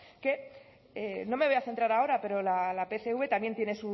que no me voy a centrar ahora pero la pcv también tiene